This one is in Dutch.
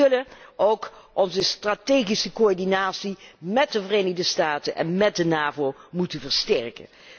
Wij zullen ook onze strategische coördinatie met de Verenigde Staten en met de NAVO moeten versterken.